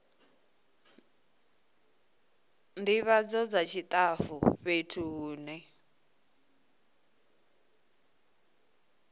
ndivhadzo dza tshitafu fhethu hune